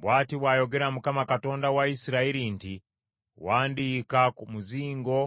“Bw’ati bw’ayogera Mukama Katonda wa Isirayiri nti, ‘Wandiika ku muzingo